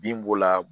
Bin b'o la